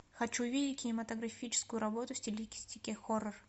хочу видеть кинематографическую работу в стилистике хоррор